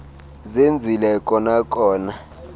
zenzile kona kona